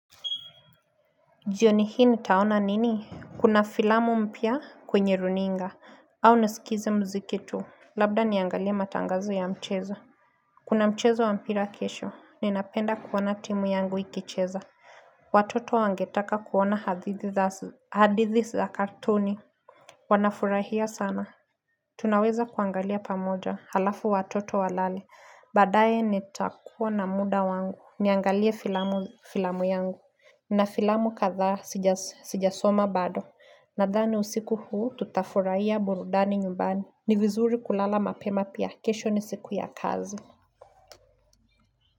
Jioni hii nitaona nini? Kuna filamu mpya kwenye runinga au nisikize mziki tu. Labda niangalie matangazo ya mchezo Kuna mchezo wa mpira kesho ninapenda kuona timu yangu ikicheza Watoto wangetaka kuona hadithi za cartoon Wanafurahia sana Tunaweza kuangalia pamoja halafu watoto walale badaye nitakuwa na muda wangu Niangalie filamu filamu yangu na filamu kadhaa sijasoma bado Nathani usiku huu, tutafurahia burudani nyumbani. Ni vizuri kulala mapema pia kesho ni siku ya kazi.